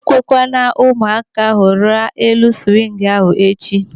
Ekwekwala ụmụaka ahụ rịa elu swingu ahụ echi.!